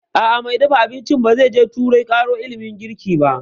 A'a, mai dafa abincin ba zai je turai ƙaro ilimin girki ba